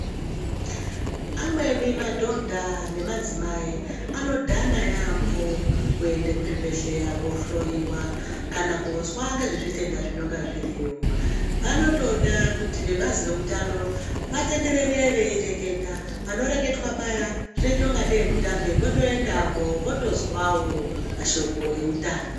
Amweni madhodha nemadzimai anodhana yampho kuenda kuzvibhedhleya kohloyiwa kana kozwa ngezvematenda zvinonga zviriyo vanotoda kuti vebazi reutano vatenderere veireketa panoreketwa paya zvinoita ngatei mutambe votoendawo votozwawo mashoko eutano